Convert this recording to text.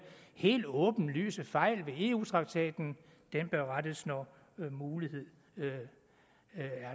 helt åbenlyse fejl ved eu traktaten bør rettes når muligheden